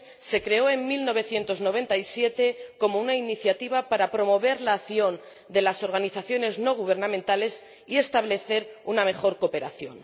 Se creó en 1997 como una iniciativa para promover la acción de las organizaciones no gubernamentales y establecer una mejor cooperación.